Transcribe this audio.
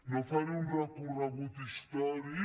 no faré un recorregut històric